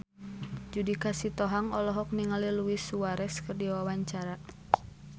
Judika Sitohang olohok ningali Luis Suarez keur diwawancara